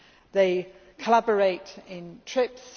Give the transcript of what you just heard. They collaborate in trips